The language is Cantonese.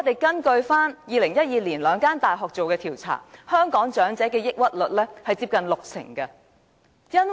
根據2012年兩間大學所做的調查，香港長者患上抑鬱症的比率，接近六成。